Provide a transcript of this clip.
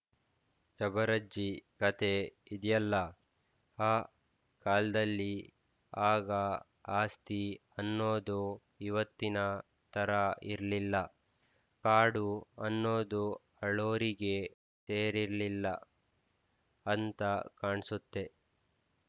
ಶಬರಜ್ಜಿ ಕತೆ ಇದ್ಯಲ್ಲ ಆ ಕಾಲ್ದಲ್ಲಿ ಆಗ ಆಸ್ತಿ ಅನ್ನೋದು ಇವತ್ತಿನ ಥರಾ ಇರ್ಲಿಲ್ಲ ಕಾಡು ಅನ್ನೋದು ಆಳೋರಿಗೆ ಸೇರಿರ್ಲಿಲ್ಲ ಅಂತ ಕಾಣ್ಸುತ್ತೆ